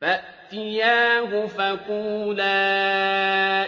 فَأْتِيَاهُ فَقُولَا